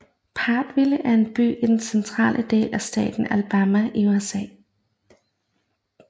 Prattville er en by i den centrale del af staten Alabama i USA